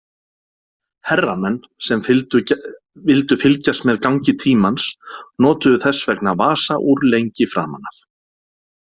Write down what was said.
Herramenn sem vildu fylgjast með gangi tímans notuðu þess vegna vasaúr lengi framan af.